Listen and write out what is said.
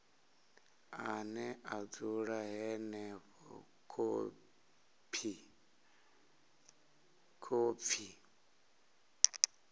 ane a dzula henefho khophi